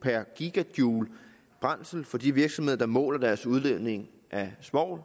per gj brændsel for de virksomheder der måler deres udledning af svovl